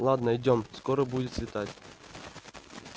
ладно идём скоро будет светать